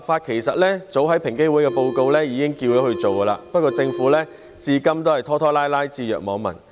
其實平等機會委員會的報告早已經要求政府研究立法，但政府至今仍然拖拖拉拉，置若罔聞。